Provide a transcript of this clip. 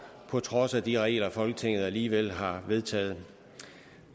på trods af de regler folketinget alligevel har vedtaget